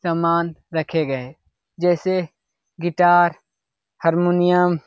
समान रखे गए है जैसे गिटार हारमोनियम --